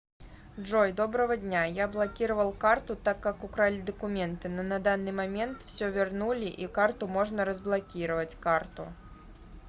джой доброго дня я блокировал карту так как украли документы но на данный момент все вернули и карту можно разблокировать карту